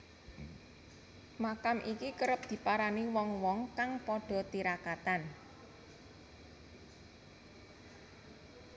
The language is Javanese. Makam iki kerep diparani wong wong kang padha tirakatan